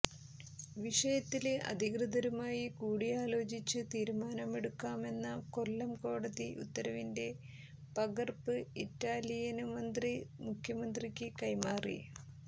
വിഷയത്തില് അധികൃതരുമായി കൂടി ആലോചിച്ചു തീരുമാനമെടുക്കാമെന്ന കൊല്ലം കോടതി ഉത്തരവിന്റെ പകര്പ്പ് ഇറ്റാലിയന് മന്ത്രി മുഖ്യമന്ത്രിക്ക് കൈമാറി